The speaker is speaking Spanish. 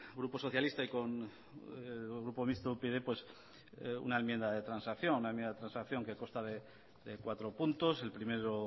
grupo socialista y con el grupo mixto upyd una enmienda de transacción una enmienda de transacción que consta de cuatro puntos el primero